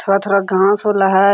थोड़ा-थोड़ा घांस होला है।